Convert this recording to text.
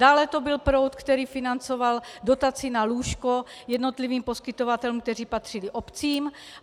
Dále to byl proud, který financoval dotaci na lůžko jednotlivým poskytovatelům, kteří patřili obcím.